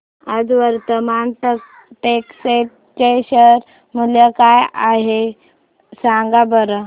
आज वर्धमान टेक्स्ट चे शेअर मूल्य काय आहे सांगा बरं